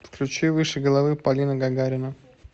включи выше головы полина гагарина